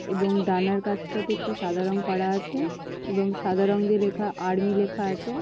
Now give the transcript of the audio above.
এবং ডানার কাছটাতে একটু সাদা রং করা আছে এবং সাদা রঙ দিয়ে লেখা আর্মি লেখা আছে।